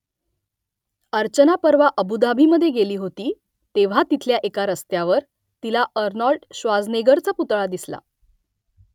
अर्चना परवा अबु धाबीमधे गेली होती तेव्हा तिथल्या एका रस्त्यावर तिला आर्नोल्ड श्वार्झनेगरचा पुतळा दिसला